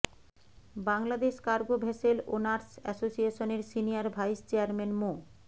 Bangladesh cargo vessel owners অ্যাসোসিয়েশনের senior vice chairman মো